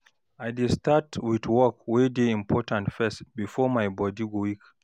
I dey start with work wey dey important first bifor my body weak